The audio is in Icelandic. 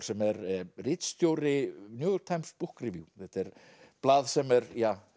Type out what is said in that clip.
sem er ritstjóri New York Times Book Review þetta er blað sem er